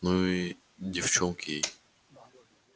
ну и девчонки